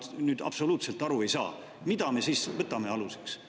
Mina nüüd absoluutselt aru ei saa, mida me siis võtame aluseks.